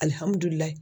Alihamudulila